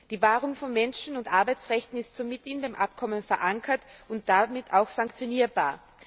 Die Wahrung von Menschen und Arbeitsrechten ist somit in dem Abkommen verankert und damit auch sanktionierbar.